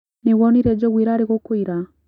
Nĩwonire njogu irĩa irarĩ gũkũ ira?